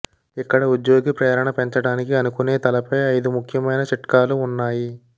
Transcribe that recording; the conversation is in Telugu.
ఇక్కడ ఉద్యోగి ప్రేరణ పెంచడానికి అనుకునే తలపై ఐదు ముఖ్యమైన చిట్కాలు ఉన్నాయి